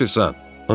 Niyə qaçırsan?